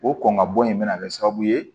O kɔn ka bɔ in bɛna kɛ sababu ye